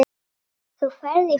Þú ferð í friði.